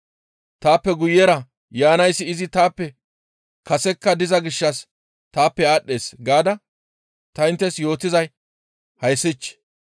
‹Taappe guyera yaanayssi izi taappe kasekka diza gishshas taappe aadhdhees› gaada ta inttes yootizay hayssich!